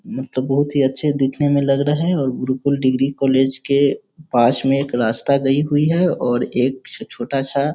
मुझे तो बहुत ही अच्छा दिखने में लग रहे हैं और गुरुकुल डिग्री कॉलेज के पास में एक रास्ता गई हुई है और एक छोटा-सा --